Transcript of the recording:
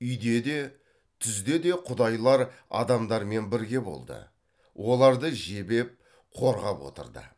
үйде де түзде де құдайлар адамдармен бірге болды оларды жебеп қорғап отырды